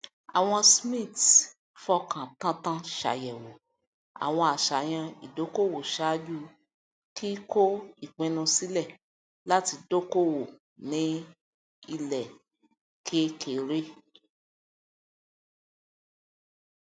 àwọn smiths fọkàn tántán ṣàyẹwò àwọn àṣàyàn ìdokoowo ṣáájú kíkó ipinnu sílẹ láti dokoowo ní ilẹ kekere